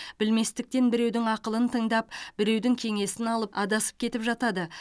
білместіктен біреудің ақылын тыңдап біреудің кеңесін алып адасып кетіп жатады